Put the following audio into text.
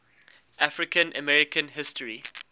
african american history